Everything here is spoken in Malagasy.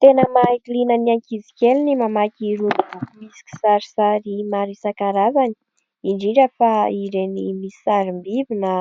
Tena mahaliana ny ankizikely ny mamaky ireo boky misy kisarisary maro isankarazany indrindra fa ireny misy sarim-biby na